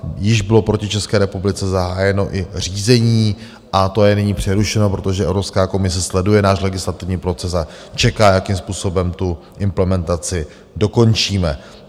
Již bylo proti České republice zahájeno i řízení a to je nyní přerušeno, protože Evropská komise sleduje náš legislativní proces a čeká, jakým způsobem tu implementaci dokončíme.